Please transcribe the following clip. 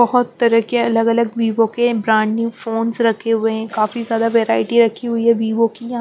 बहुत तरह के अलग अलग वीवो के ब्रांड न्यू फोन्स रखे हुए हैं काफी ज्यादा वैरायटी रखी हुई हैं वीवो की या --